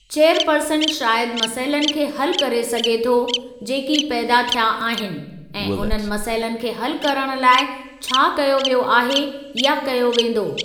Chairperson शायदि मसइलनि खे हलु करे सघे थो जेकी पैदा थिया आहिनि, ऐं उन्हनि मसइलनि खे हलु करणु लाइ छा कयो वियो आहे या कयो वेंदो।